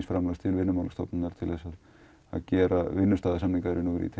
fjármagn til Vinnumálastofnunar til að gera vinnustaðasamninga